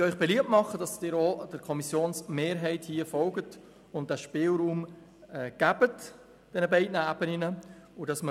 Darum bitte ich Sie, der Kommissionsmehrheit zu folgen und den Spielraum auf beiden Ebenen zuzulassen.